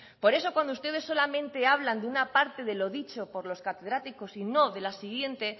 por eso cuando ustedes solamente hablan de una parte de lo dicho por los catedráticos y no de la siguiente